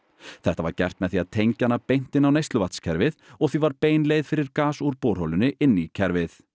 þetta var gert með því að tengja hana beint inn á neysluvatnskerfið og því var bein leið fyrir gas úr borholunni inn í kerfið